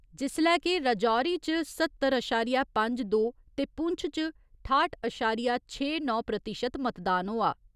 जिस्सलै के राजौरी च स्हत्तर अशारिया पंज दो ते पुंछ च ठाह्‌ट अशारिया छे नौ प्रतिशत मतदान होआ।